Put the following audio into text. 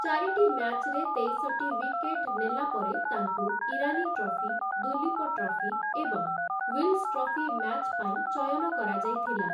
ଚାରିଟି ମ୍ୟାଚ୍‌ରେ ତେଇଶ ଟି ୱିକେଟ୍ ନେଲା ପରେ ତାଙ୍କୁ ଇରାନୀ ଟ୍ରଫି, ଦୁଲୀପ ଟ୍ରଫି ଏବଂ ୱିଲ୍ସ ଟ୍ରଫି ମ୍ୟାଚ୍ ପାଇଁ ଚୟନ କରାଯାଇଥିଲା ।